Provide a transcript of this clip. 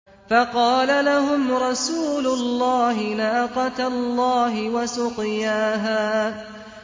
فَقَالَ لَهُمْ رَسُولُ اللَّهِ نَاقَةَ اللَّهِ وَسُقْيَاهَا